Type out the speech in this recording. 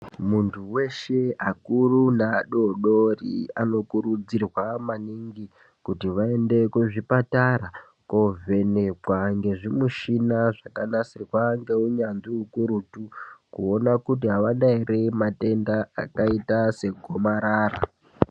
Muntu weshe akuru neadodori anokurudzirwa maningi kuti vaende kuzvipatara kovhenekwa ngezvimichina zvakanasirwa ngeunyanzvi ukurutu kuona kuti avana ere matenda akaita segomarara.